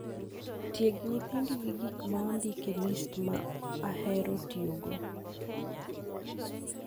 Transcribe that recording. ? Tieg nyithindi gi gik ma ondik e list ma ahero tiyogo